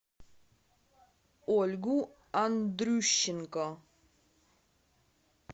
ольгу андрющенко